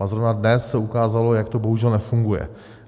A zrovna dnes se ukázalo, jak to bohužel nefunguje.